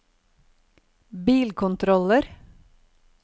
bilkontroller